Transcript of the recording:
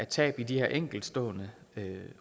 tab i de her enkeltstående